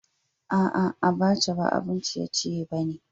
A'a, Abaca ba abun ciye-ciye ba ne.